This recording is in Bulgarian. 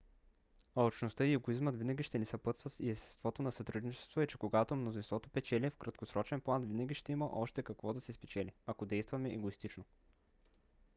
алчността и егоизмът винаги ще ни съпътстват и естеството на сътрудничеството е че когато мнозинството печели в краткосрочен план винаги ще има още какво да се спечели ако действаме егоистично